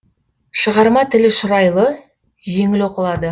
шығарма тілі шұрайлы жеңіл оқылады